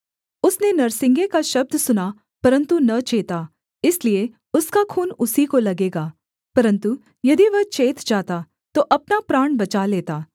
उसने नरसिंगे का शब्द सुना परन्तु न चेता इसलिए उसका खून उसी को लगेगा परन्तु यदि वह चेत जाता तो अपना प्राण बचा लेता